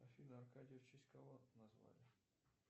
афина аркадия в честь кого назвали